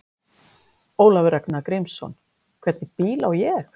Ólafur Ragnar Grímsson: Hvernig bíl á ég?